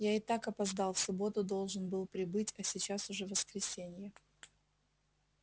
я и так опоздал в субботу должен был прибыть а сейчас уже воскресенье